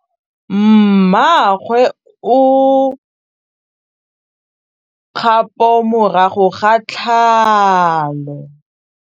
Mmagwe o kgapô morago ga tlhalô.